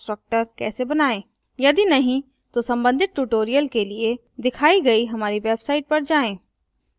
यदि नहीं तो संबंधित tutorials के लिए दिखाई गई हमारी website पर जाएँ http:// www spokentutorial org